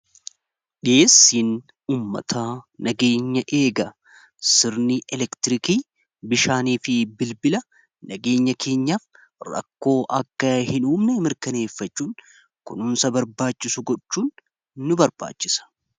dhi'eessiin uummataa nageenya eega sirnii elektirikii bishaanii fi bilbila nageenya keenyaaf rakkoo akka hin uumne mirkaneeffachuun kunuunsa barbaachisu gochuun nu barbaachisa.